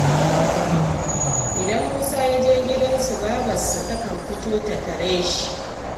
Idan Musa ya je gidansu, babarsa takan fito ta tare shi